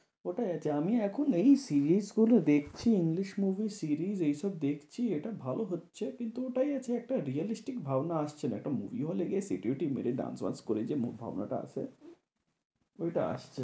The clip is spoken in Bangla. কোথায় আছে? আমি এখন এই series গুলো দেখছি ইংলিশ movie series এইসব দেখছি। এটা ভালো হচ্ছে কিন্তু ওটাই আছে একটা realistic ভাবনা আসছে না। একটা movie hall এ গিয়ে সিটি বিটি dance ব্যান্স করে যে ভাবনা টা আসে ওইটা আসছে না।